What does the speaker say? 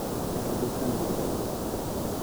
Kedo gi chandruogego.